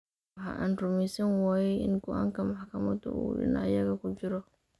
Waxa aan rumaysan waayay in go’aanka maxkamaddu uu dhinacayaga ku jiro.